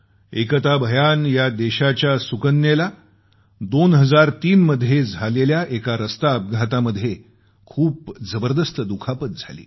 एकता भयान या देशाच्या सुकन्येला 2003 मध्ये रस्त्यावर झालेल्या एका अपघातामध्ये खूप जबरदस्त दुखापत झाली